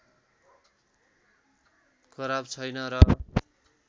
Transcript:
खराब छैन र